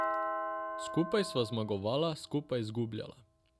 Skupaj sva zmagovala, skupaj izgubljala.